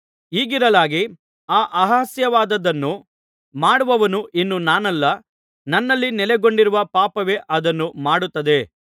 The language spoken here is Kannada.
ಹೀಗಿರಲಾಗಿ ಆ ಅಸಹ್ಯವಾದದ್ದನ್ನು ಮಾಡುವವನು ಇನ್ನು ನಾನಲ್ಲ ನನ್ನಲ್ಲಿ ನೆಲೆಗೊಂಡಿರುವ ಪಾಪವೇ ಅದನ್ನು ಮಾಡುತ್ತದೆ